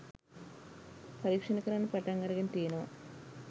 පරීක්ෂණ කරන්න පටන් අරගෙන තියෙනවා.